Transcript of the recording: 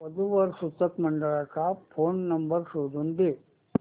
वधू वर सूचक मंडळाचा फोन नंबर शोधून दे